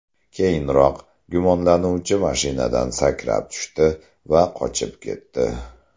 Keyinroq gumonlanuvchi mashinadan sakrab tushdi va qochib ketdi.